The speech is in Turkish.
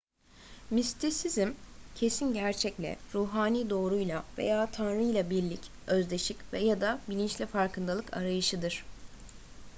mistisizm kesin gerçekle ruhani doğruyla veya tanrıyla birlik özdeşik ya da bilinçli farkındalık arayışıdır